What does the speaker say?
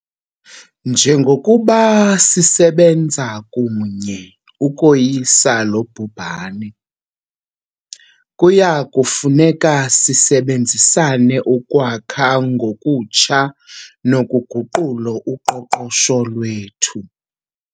Njengokuba sisebenza kunye ukoyisa lo bhubhane, kuya kufuneka sisebenzisane ukwakha ngokutsha nokuguqula uqoqosho lwethu.